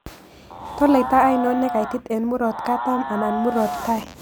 Toloiita ainon negaitit eng' mrot katam anan murot tai